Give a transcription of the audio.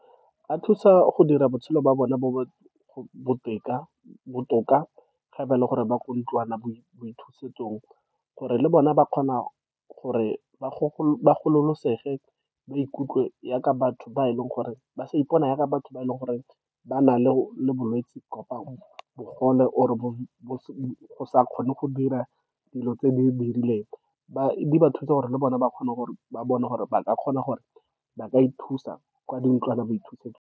A thusa go dira botshelo ba bona bo be botoka. Ge ba le gore ba kwa ntlwanaboithusetsong, gore le bona ba kgona gore ba gololesegile, ba ikutlwe yaaka batho ba e leng gore ba sa ipona, yaka batho ba e leng gore ba na le bolwetsi, kapa bogole, or bo sa kgone go dira dilo tse di rileng. Di ba thusa gore le bone ba kgone gore ba bone, gore ba ka kgona, gore ba ka ithusa kwa di ntlwanaboithusetsong.